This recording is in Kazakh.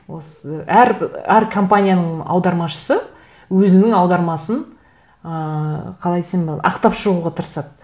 осы әр әр компанияның аудармашысы өзінің аудармасын ыыы қалай десем болады ақтап шығуға тырысады